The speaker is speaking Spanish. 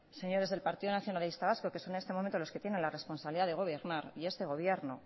señores del partido nacionalista vasco que son en este momento los que tiene la responsabilidad de gobernar y este gobierno